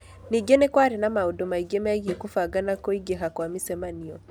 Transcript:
Ningĩ nĩ kwarĩ na maũndũ mangĩ megiĩ kũbanga na kũingĩha kwa mĩcemanio.